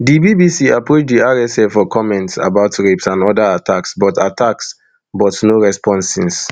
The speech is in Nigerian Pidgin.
di bbc approach di rsf for comment about rapes and oda attacks but attacks but no response since